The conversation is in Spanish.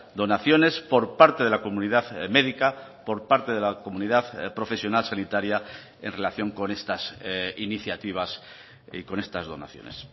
donaciones por parte de la comunidad médica por parte de la comunidad profesional sanitaria en relación con estas iniciativas y con estas donaciones